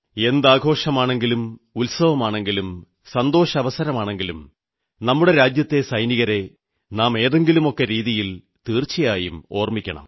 എന്താഘോഷമാണെങ്കിലും ഉത്സവമാണെങ്കിലും സന്തോഷാവസരമാണെങ്കിലും നമ്മുടെ രാജ്യത്തെ സൈനികരെ നാം ഏതെങ്കിലുമൊക്കെ രീതിയിൽ തീർച്ചയായും ഓർമ്മിക്കണം